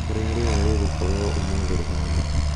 ũrĩa rĩera rĩgookorũo umuthi rĩhana